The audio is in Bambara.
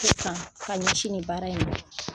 Sisan ka ɲɛsi ni baara in ma.